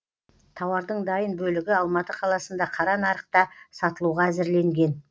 тауардың дайын бөлігі алматы қаласында қара нарықта сатылуға әзірленген